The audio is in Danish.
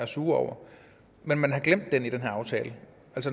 sure over men man har glemt dem i den her aftale